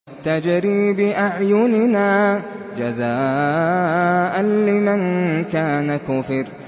تَجْرِي بِأَعْيُنِنَا جَزَاءً لِّمَن كَانَ كُفِرَ